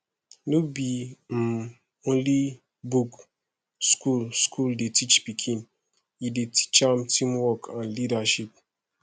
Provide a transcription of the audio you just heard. no be um only book school school dey teach pikin e dey teach am teamwork and leadership